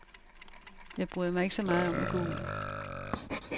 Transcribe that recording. Jeg bryder mig ikke så meget om at gå ud.